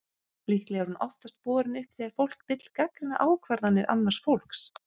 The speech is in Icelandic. Líklega er hún oftast borin upp þegar fólk vill gagnrýna ákvarðanir annars fólks.